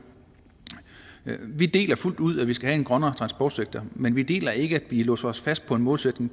vi deler fuldt ud at vi skal have en grønnere transportsektor men vi deler ikke at vi låser os fast på en målsætning